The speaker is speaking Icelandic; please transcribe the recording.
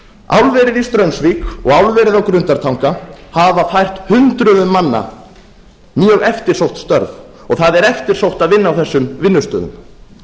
álverið í straumsvík og álverið á grundartanga hafa fært hundruðum manna mjög eftirsótt störf og það er eftirsótt að vinna á þessum vinnustöðum